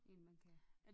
En man kan